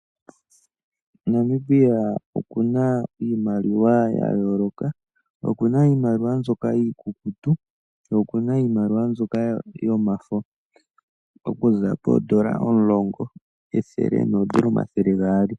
Namibia okuna iimaliwa ya yooloka. Okuna iimaliwa mboka iikukutu ye okuna iimaliwa mbyoka yomafo okuza poondola omulongo, ethele noondola omathele gaali.